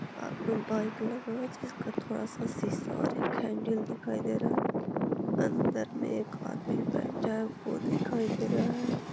आगे बाइक लगा हुआ है जिसका थोड़ा सा शीशा और एक हैंडल दिखाई दे रहा है अंदर में एक आदमी बैठा है वो दिखाई दे रहा है।